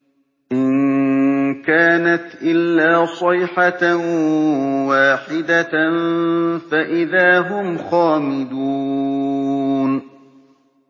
إِن كَانَتْ إِلَّا صَيْحَةً وَاحِدَةً فَإِذَا هُمْ خَامِدُونَ